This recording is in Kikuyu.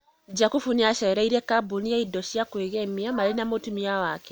Jakubũ nĩacereire kambũni ya indo cĩa kwĩgemia marĩ na mutũmia wake